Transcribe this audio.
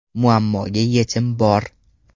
Muammoga yechim bor!.